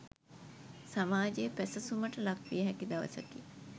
සමාජයේ පැසසුමට ලක්විය හැකි දවසකි.